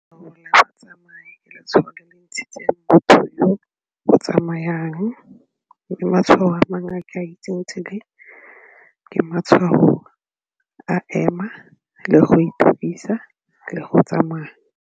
motho yo o tsamayang ke matshwao a ema le go itukisa le go tsamaya.